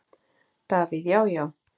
Davíð Já, já.